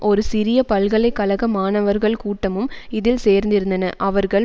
ஒரு சிறிய பல்கலை கழக மாணவர்கள் கூட்டமும் இதில் சேர்ந்திருந்தன அவர்கள்